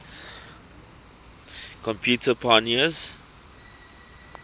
computer pioneers